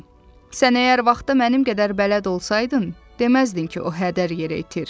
Sən əgər vaxta mənim qədər bələd olsaydın, deməzdin ki, o hədər yerə itir.